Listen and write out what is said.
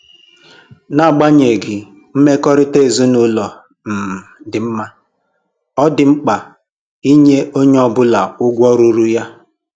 N'agbanyeghị mmekọrịta ezinụlọ um dị mma, ọ dị mkpa inye onye ọbụla ugwu ruuru ya